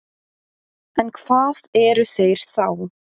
En hvað eru þeir þá?